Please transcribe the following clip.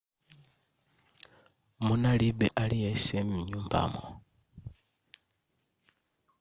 munalibe aliyense m'nyumbamo